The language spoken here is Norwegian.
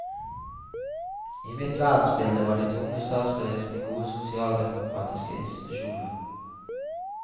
I mitt verdensbilde var de tunge statsbedriftene gode sosialdemokratiske institusjoner.